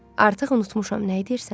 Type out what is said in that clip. Artıq unutmuşam nəyi deyirsən.